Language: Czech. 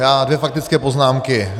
Já dvě faktické poznámky.